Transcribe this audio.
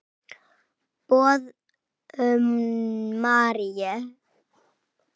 Boðun Maríu.